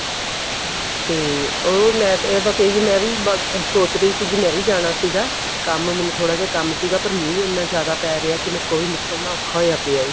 ਤੇ ਉਹ ਮੈਂ ਇਹ ਬੱਸ ਇਹੀ ਮੈਂ ਵੀ ਸੋਚ ਰਹੀ ਸੀ ਕੇ ਮੈਂ ਵੀ ਜਾਣਾ ਸੀਗਾ ਕੰਮ ਮੈਨੂੰ ਥੋੜਾ ਜਾ ਕੰਮ ਸੀਗਾ ਮੀਂਹ ਇੰਨਾ ਜ਼ਿਆਦਾ ਪੈ ਰਿਹਾ ਕੇ ਮੇਰੇ ਕੋਲੋਂ ਵੀ ਨਿਕਲਣਾ ਔਖਾ ਪਿਆ ਹੋਇਆ ਹੈਗਾ